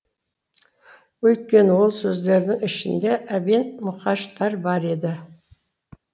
өйткені ол сөздердің ішінде әбен мұқаштар бар еді